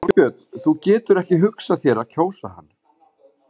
Þorbjörn: Þú getur ekki hugsað þér að kjósa hann?